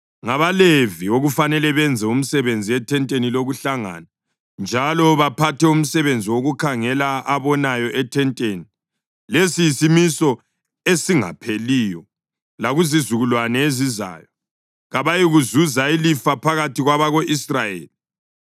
NgabaLevi okufanele benze umsebenzi ethenteni lokuhlangana njalo baphathe umsebenzi wokukhangela abonayo ethenteni. Lesi yisimiso esingapheliyo lakuzizukulwane ezizayo. Kabayikuzuza ilifa phakathi kwabako-Israyeli.